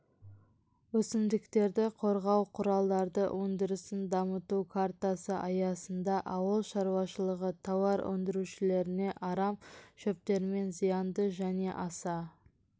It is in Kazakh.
өсімдіктерді қорғау құралдары өндірісін дамыту картасы аясында ауыл шаруашылығы тауар өндірушілеріне арам шөптермен зиянды және аса